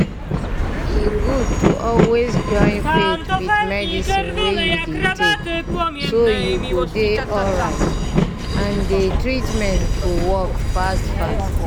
e good to always join faith with medicine wey you dey take so you go dey alright and dey treatment go work fast fast.